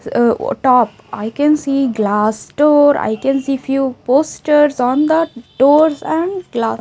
uh uh top I can see glass store I can see few posters on the doors and glass.